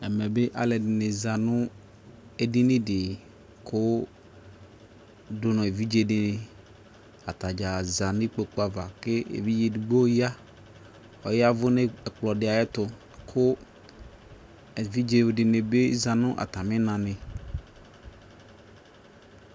Ɛmɛ be alɛde de ne za no edini de ko do no evidze de ne Ata dza za no ikpoku ava ke evidze edigbo ya, ɔyavu no ɛkplɔ de ayeto ko evidze de ne za no atane na ne